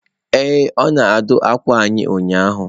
Ee, ọ na-adụ akwa anyị ụnyahụ.